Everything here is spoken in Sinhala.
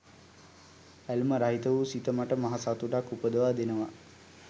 ඇල්ම රහිත වූ සිත මට මහ සතුටක් උපදවා දෙනවා